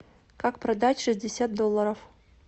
как продать шестьдесят долларов